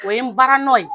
O ye n baara nɔ ye